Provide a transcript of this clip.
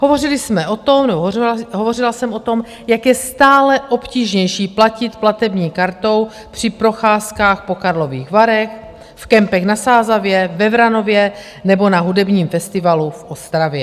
Hovořila jsem o tom, jak je stále obtížnější platit platební kartou při procházkách po Karlových Varech, v kempech na Sázavě, ve Vranově nebo na hudebním festivalu v Ostravě.